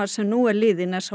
sem nú er liðinn er sá